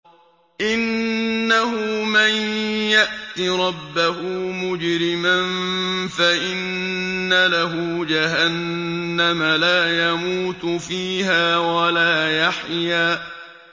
إِنَّهُ مَن يَأْتِ رَبَّهُ مُجْرِمًا فَإِنَّ لَهُ جَهَنَّمَ لَا يَمُوتُ فِيهَا وَلَا يَحْيَىٰ